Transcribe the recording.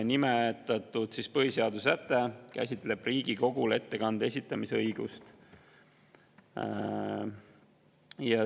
Nimetatud põhiseaduse säte käsitleb Riigikogule ettekande esitamise õigust.